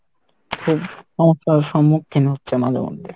খুব সমস্যার সমুক্ষিন হচ্ছে মাঝে মধ্যে।